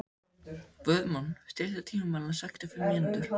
Guðmon, stilltu tímamælinn á sextíu og fimm mínútur.